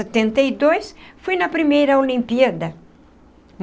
Setenta e dois fui na primeira Olimpíada.